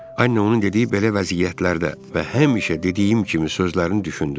Annə onun dediyi belə vəziyyətlərdə və həmişə dediyim kimi sözlərini düşündü.